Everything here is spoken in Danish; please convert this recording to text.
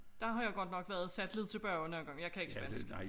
Der har jeg godt nok været sat lidt tilbage